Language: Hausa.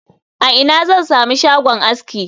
A ina zan sami shagon aski